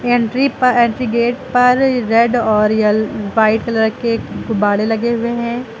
Entry पर entry gate पर red और यल व्हाइट कलर के गुब्बाड़े लगे हुए हैं।